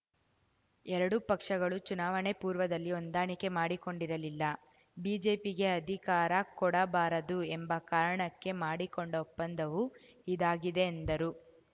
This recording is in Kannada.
ಎರಡು ಪಕ್ಷಗಳು ಚುನಾವಣೆ ಪೂರ್ವದಲ್ಲಿ ಹೊಂದಾಣಿಕೆ ಮಾಡಿಕೊಂಡಿರಲಿಲ್ಲ ಬಿಜೆಪಿಗೆ ಅಧಿಕಾರ ಕೊಡಬಾರದು ಎಂಬ ಕಾರಣಕ್ಕೆ ಮಾಡಿಕೊಂಡ ಒಪ್ಪಂದವು ಇದಾಗಿದೆ ಎಂದರು